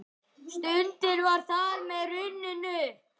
Stundin var þar með runnin upp.